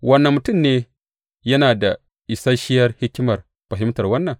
Wane mutum ne yana da isashiyar hikimar fahimtar wannan?